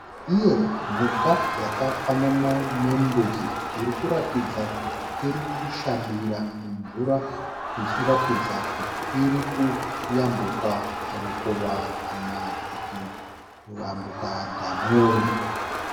Iye mhuka yakafanana nembudzi inoratidza kuti irikushambira mumvura ichiratidza kuti irikuyambuka rukova kana kuti dhamu.